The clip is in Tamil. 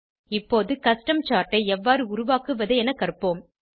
இப்போது கஸ்டம் சார்ட் ஐ எவ்வாறு உருவாக்குவது என கற்போம்